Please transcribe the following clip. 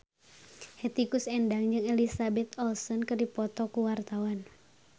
Hetty Koes Endang jeung Elizabeth Olsen keur dipoto ku wartawan